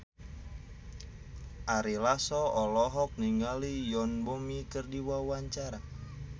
Ari Lasso olohok ningali Yoon Bomi keur diwawancara